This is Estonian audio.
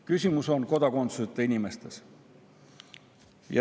Küsimus on kodakondsuseta inimestes.